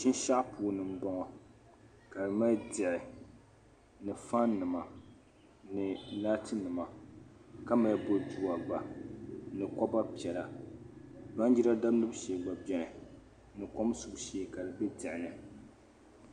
Shinshɛɣu puuni m-bɔŋɔ ka di mali diɣi ni fannima ni laatinima ka mali bodua gba ni koba piɛla baanjira damdibu shee gba beni ni kom subu shee ka di be diɣi ni.